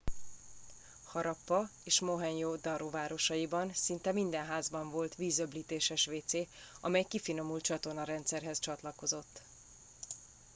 harappa és mohenjo daro városaiban szinte minden házban volt vízöblítéses wc amely kifinomult csatornarendszerhez csatlakozott